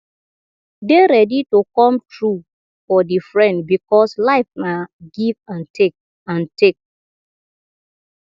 dey ready to come through for di friend because life na give and take and take